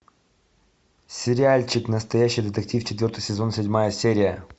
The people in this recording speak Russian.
сериальчик настоящий детектив четвертый сезон седьмая серия